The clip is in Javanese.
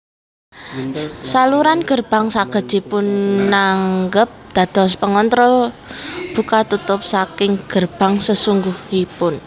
Saluran gerbang saged dipunanggep dados pengontrol buka tutup saking gerbang sesungguhipun